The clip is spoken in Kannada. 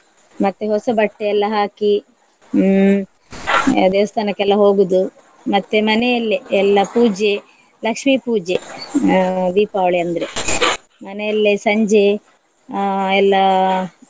ಮತ್ತೆ ಹೊಸ ಬಟ್ಟೆ ಎಲ್ಲ ಹಾಕಿ ಹ್ಮ್ ದೇವಸ್ಥಾನಕ್ಕೆಲ್ಲ ಹೋಗುದು ಮತ್ತೆ ಮನೆಯಲ್ಲೆ ಎಲ್ಲ ಪೂಜೆ, ಲಕ್ಷ್ಮಿ ಪೂಜೆ ಅಹ್ ದೀಪಾವಳಿ ಅಂದ್ರೆ ಮನೆಯಲ್ಲೇ ಸಂಜೆ ಅಹ್ ಎಲ್ಲಾ.